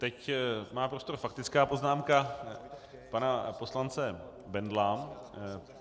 Teď má prostor faktická poznámka pana poslance Bendla.